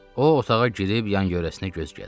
O otağa girib yan-yörəsinə göz gəzdirdi.